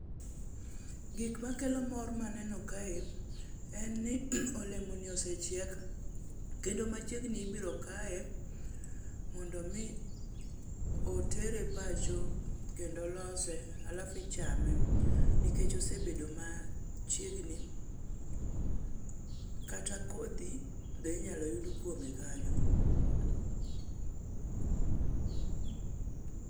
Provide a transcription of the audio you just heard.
Gikmakelo mor maneno kae en ni olemoni osechiek kendo machiegni ibiro kaye mondo omi otere pacho kendo lose alafu ichame nikech osebedo machiegni kata kodhi be inyalo yud kuome kanyo.